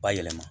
Bayɛlɛma